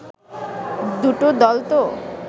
দুটো দল তো